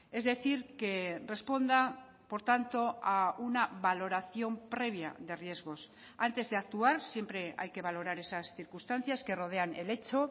es decir que responda por tanto a una valoración previa de riesgos antes de actuar siempre hay que valorar esas circunstancias que rodean el hecho